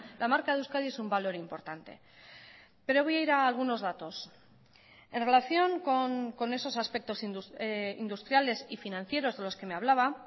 la marca de euskadi es un valor importante pero voy a ir a algunos datos en relación con esos aspectos industriales y financieros de los que me hablaba